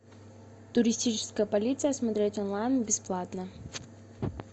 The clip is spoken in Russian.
туристическая полиция смотреть онлайн бесплатно